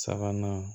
Sabanan